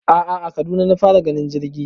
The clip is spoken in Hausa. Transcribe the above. a'a a Kaduna na fara ganin jirgi